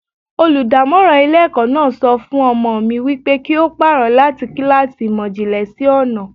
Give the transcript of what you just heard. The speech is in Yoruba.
Olùdámọ́ràn ilé ẹ̀kọ́ náà sọ fún ọmọ mi wípé kí ó pàrọ̀ láti kíláàsì ìmò ìjìnlẹ̀ sí ọnà.